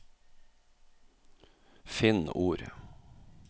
Finn ord